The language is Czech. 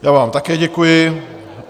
Já vám také děkuji.